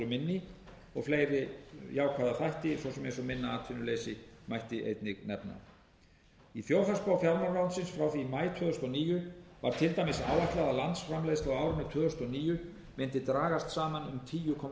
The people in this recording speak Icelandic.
minni og fleiri jákvæða þætti svo sem eins og minna atvinnuleysi mætti einnig nefna í þjóðhagsspá fjármálaráðuneytisins frá maí tvö þúsund og níu var til dæmis áætlað að landsframleiðsla á árinu tvö þúsund og níu mundi dragast saman um tíu komma